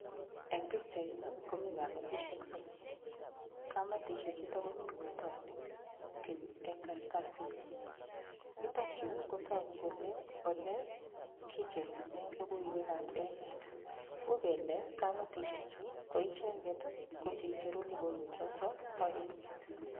Eng' pikchaini komi kametishek somoku kamatishe chuto komi kotoni kii eng' karatasit yutokyu kotoku kole ole kicherune lokoiwekab emet uu kele kametishechu ko icheget ko cheicheru lokoiwechoto bo emet